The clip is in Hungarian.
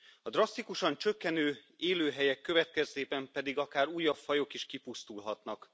A drasztikusan csökkenő élőhelyek következtében pedig akár újabb fajok is kipusztulhatnak.